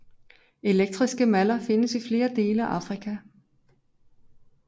Elektriske maller findes i flere dele af Afrika